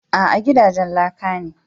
A'a, gidajen laka ne